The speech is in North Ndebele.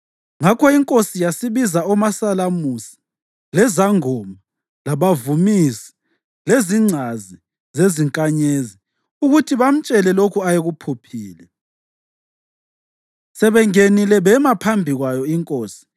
Ngakho inkosi yasibiza omasalamusi, lezangoma, labavumisi lezingcazi zezinkanyezi ukuthi bamtshele lokho ayekuphuphile. Sebengenile bema phambi kwayo inkosi,